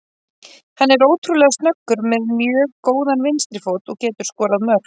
Hann er ótrúlega snöggur, með mjög góðan vinstri fót og getur skorað mörk.